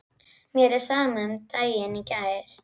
Mér er sama um daginn í gær.